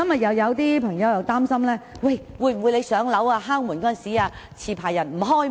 又有議員擔心，在署方上門巡查時，持牌人不肯開門。